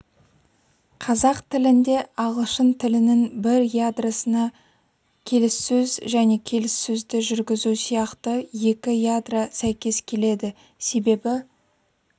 қазақ тілінде ағылшын тілінің бір ядросына келіссөз және келіссөзді жүргізу сияқты екі ядро сәйкес келеді себебі